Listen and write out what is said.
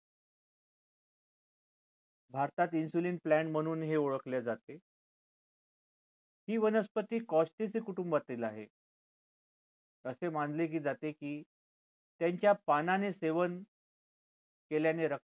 भारतात insulin plant म्हणून ही ओळखले जाते ही वनस्पती कुटुंबातील आहे असे मानले जाते की त्यांच्या पानाचे सेवन केल्याने रक्तातील